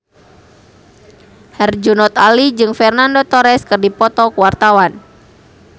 Herjunot Ali jeung Fernando Torres keur dipoto ku wartawan